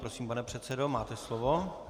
Prosím, pane předsedo, máte slovo.